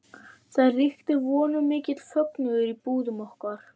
Það ríkti að vonum mikill fögnuður í búðum okkar